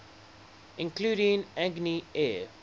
including agni air